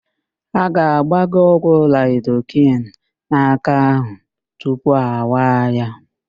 A ga-agba gị ọgwụ laịdoken n'áká ahụ tupu a kwaa ya.